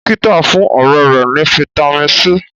dókítà fún ọrẹ rè ní vitamin c.